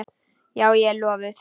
Já, ég er lofuð.